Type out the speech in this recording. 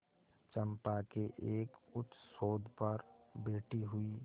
चंपा के एक उच्चसौध पर बैठी हुई